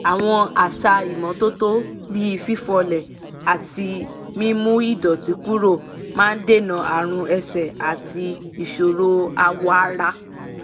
àwọn àṣà ìmọ́tótó bí fífọlé àti mímú ìdọ̀tí kúrò máa dènà àrùn ẹsẹ̀ àti ìṣòro awọ ara